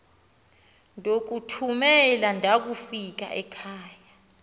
ndokuthumela ndakufika ekhava